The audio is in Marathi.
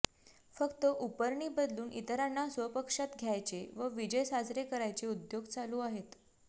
फक्त उपरणी बदलून इतरांना स्वपक्षात घ्यायचे व विजय साजरे करायचे उद्योग सुरू आहेत